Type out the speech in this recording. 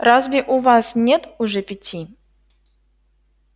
разве у вас нет уже пяти